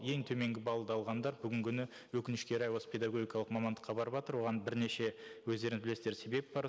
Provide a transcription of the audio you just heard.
ең төменгі баллды алғандар бүгінгі күні өкінішке орай осы педагогикалық мамандыққа барыватыр оған бірнеше өздеріңіз білесіздер себеп бар